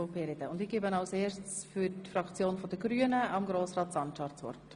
Ich erteile zuerst Grossrat Sancar für die Fraktion der Grünen das Wort.